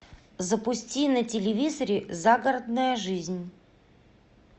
запусти на телевизоре загородная жизнь